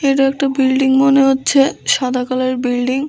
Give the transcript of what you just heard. এইটা একটা বিল্ডিং মনে হচ্ছে সাদা কালার এর বিল্ডিং ।